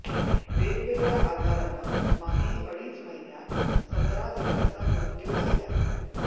वेगवेगळ्या आजारानं मागील अडीच महिन्यात सतरा जणांचा मृत्यू झालाय